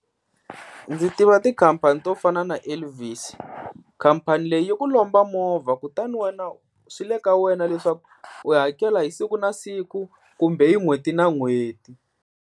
Ndzi tiva tikhampani to fana na Elvis, khampani leyi yi ku lomba movha kutani wena, swi le ka wena leswaku u hakela hi siku na siku kumbe hi n'hweti na n'hweti.